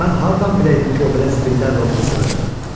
Mən hardan biləydim ki, o belə zibillərlə oturub duracaq.